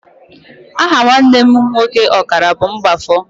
Aha nwanne m nwoke ọkara bụ Mgbafọ.